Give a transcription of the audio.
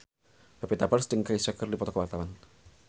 Pevita Pearce jeung Kesha keur dipoto ku wartawan